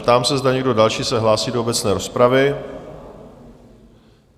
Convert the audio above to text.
Ptám se, zda někdo další se hlásí do obecné rozpravy?